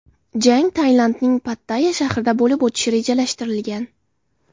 Jang Tailandning Pattayya shahrida bo‘lib o‘tishi rejalashtirilgan.